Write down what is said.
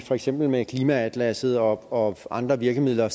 for eksempel med klimaatlasset og andre virkemidler